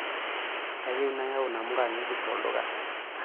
Kayieu nayau namuka ng'ejuko tolduka.